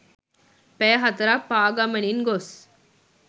පැය 4 ක් පාගමනින් ගොස්